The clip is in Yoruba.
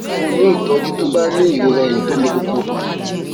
fún un ní ìtójú tó bá ní ìrora eyín tó le koko